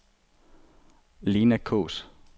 Lena Kaas